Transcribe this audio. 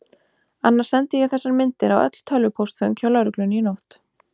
Annars sendi ég þessar myndir á öll tölvupóstföng hjá lögreglunni í nótt.